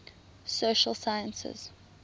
social sciences